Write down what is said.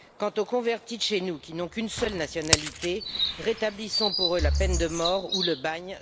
Quant aux convertis de chez nous qui n'ont qu'une seule nationalité, rétablissons pour eux la peine de mort ou le bagne.